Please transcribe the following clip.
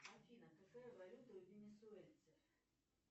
афина какая валюта у венесуэльцев